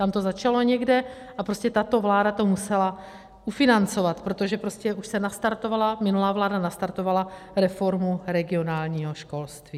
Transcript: Tam to začalo někde a prostě tato vláda to musela ufinancovat, protože prostě už se nastartovala, minulá vláda nastartovala reformu regionálního školství.